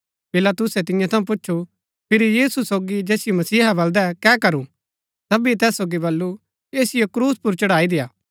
पिलातुसै तियां थऊँ पुछु फिरी यीशु सोगी जैसिओ मसीहा बलदै कै करू सबीये तैस सोगी बल्लू ऐसिओ क्रूस पुर चढ़ाई देय्आ